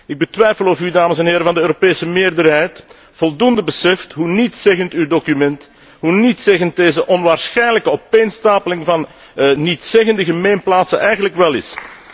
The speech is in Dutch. Ik betwijfel of u, dames en heren van de Europese meerderheid, voldoende beseft hoe nietszeggend uw document, hoe nietszeggend deze onwaarschijnlijke opeenstapeling van nietszeggende gemeenplaatsen eigenlijk wel is.